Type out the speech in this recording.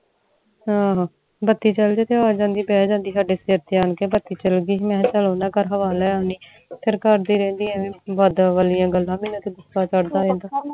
ਆਹ ਬੱਤੀ ਚਲ ਜੇ ਤੋਂ ਉਹ ਆ ਜਾਂਦੀ ਤੇ ਬਹਿ ਜਾਂਦੀ ਸਾਡੇ ਸਰ ਤੇ ਆਉਣ ਕੇ ਬੱਤੀ ਚਲ ਗਈ, ਮੈਂ ਚਾਲ ਓਹਨਾ ਘਰ ਹਵਾ ਲੈ ਆਉਣੀ ਆ ਫੇਰ ਕਰਦੀ ਰਹਿੰਦੀ ਐਵੇ ਹੀ ਵਾਲਿਆਂ ਗੱਲਾਂ ਮੇਨੂ ਤਾ ਗੁੱਸਾ ਚੜਦਾ ਰਹਿੰਦਾ